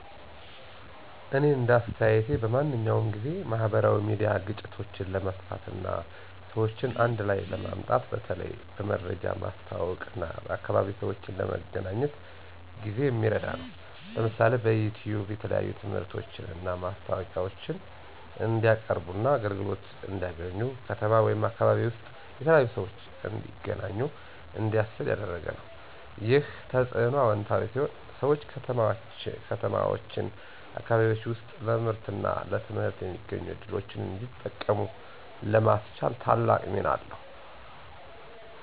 እኔ እንደ አስተያየቴ በማንኛውም ጊዜ፣ ማህበራዊ ሚዲያ ግጭቶችን ለመፍታት እና ሰዎችን አንድ ላይ ለማምጣት በተለይ በመረጃ ማስተዋወቅ እና የአካባቢ ሰዎችን ለመገናኘት ጊዜ የሚረዳ ነው። ለምሳሌ፣ በዩቲዩብ የተለያዩ ትምህርቶችን እና ማስታወቂያዎችን እንዲቀያርቡና አገልግሎት እንዲያገኙ፣ ከተማ ወይም አካባቢ ውስጥ የተለያዩ ሰዎች እንዲተገናኙ እንዲያስችል ያደረገ ነው። ይህ ተጽዕኖ አዎንታዊ ሲሆን ሰዎች ከተማዎችና አካባቢዎች ውስጥ ለምርትና ለትምህርት የሚገኙ ዕድሎችን እንዲጠቀሙ ለማስቻል ታላቅ ሚና አለው።